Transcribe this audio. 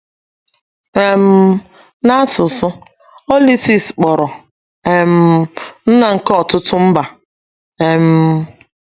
um Na asụsụ, Oliseis kporo “ um nna nke ọtụtụ mba. ” um